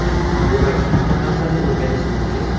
demak hamma narsani o‘rganish mumkin.